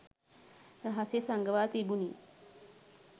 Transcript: රහසේ සඟවා තිබුණි